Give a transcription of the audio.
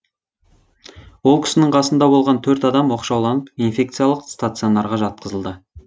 ол кісінің қасында болған төрт адам оқшауланып инфекциялық стационарға жатқызылды